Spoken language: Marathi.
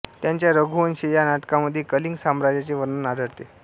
त्यांच्या रघुवंश या नाटकामध्ये कलिंग साम्राज्याचे वर्णन आढळते